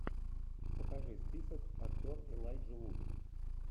покажи список актер элайджа вуд